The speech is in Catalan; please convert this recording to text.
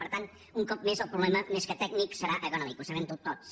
per tant un cop més el problema més que tècnic serà econòmic ho sabem tots